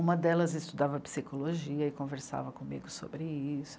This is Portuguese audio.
Uma delas estudava Psicologia e conversava comigo sobre isso.